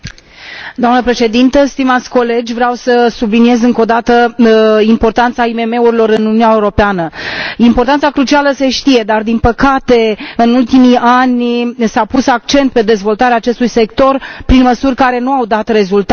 Doamnă președinte, vreau să subliniez încă o dată importanța IMM urilor în Uniunea Europeană importanța crucială, se știe dar, din păcate, în ultimii ani s a pus accent pe dezvoltarea acestui sector prin măsuri care nu au dat rezultate.